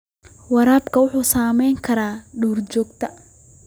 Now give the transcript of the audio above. Waraabku wuxuu saamayn karaa duurjoogta.